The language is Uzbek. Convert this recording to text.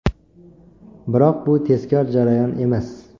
Biroq bu tezkor jarayon emas.